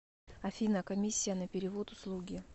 афина комиссия на перевод услуги